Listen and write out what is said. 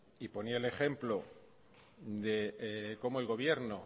y ponía el ejemplo de cómo el gobierno